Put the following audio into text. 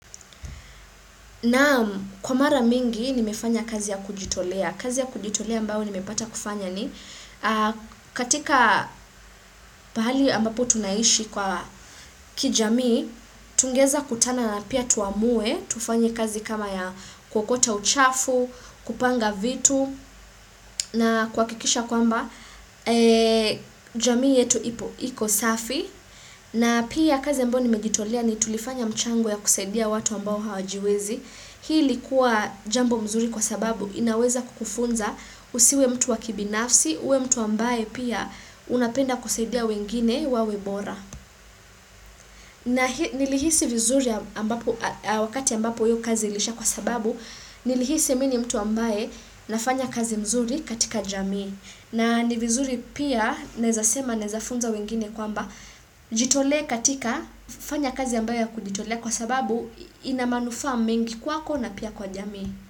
Naam kwa mara mingi nimefanya kazi ya kujitolea, kazi ya kujitolea ambayo nimepata kufanya ni katika pahali ambapo tunaishi kwa kijamii, tungeweza kutana na pia tuamue, tufanye kazi kama ya kuokota uchafu, kupanga vitu na kuhakikisha kwamba jamii yetu ipo, iko safi. Na pia kazi ambayo nimejitolea ni tulifanya mchango ya kusaidia watu ambao hawajiwezi. Hii ilikuwa jambo mzuri kwa sababu inaweza kukufunza usiwe mtu wa kibinafsi, uwe mtu ambaye pia unapenda kusaidia wengine wawe bora. Na nilihisi vizuri wakati ambapo hiyo kazi iliisha kwa sababu, nilihisi mimi ni mtu ambaye nafanya kazi mzuri katika jamii. Na ni vizuri pia naezasema naezafunza wengine kwamba jitolee katika kufanya kazi ambayo kujitolea kwa sababu ina manufaa mingi kwako na pia kwa jamii.